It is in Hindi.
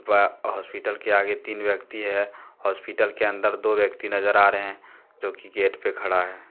व हॉस्पिटल के आगे तीन व्यक्ति है हॉस्पिटल के अंदर दो व्यक्ति नजर आ रहे हैं जो गेट पे खड़ा है।